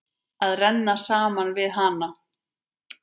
Að renna saman við hana.